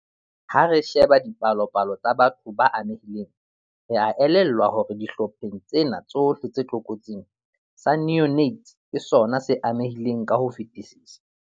"Ha re sheba dipalopalo tsa batho ba amehileng, re a elellwa hore dihlopheng tsena tsohle tse tlokotsing, sa neonates ke sona se amehileng ka ho fetisisa."